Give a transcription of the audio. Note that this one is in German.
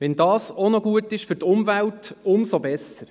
– Wenn das auch noch für die Umwelt gut ist, umso besser.